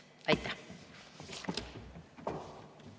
Aitäh!